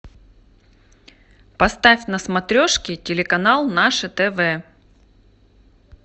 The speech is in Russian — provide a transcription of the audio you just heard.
поставь на смотрешке телеканал наше тв